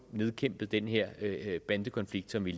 nedkæmpet den her bandekonflikt som vi